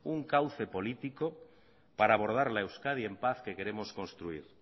un cauce político para abordar la euskadi en paz que queremos construir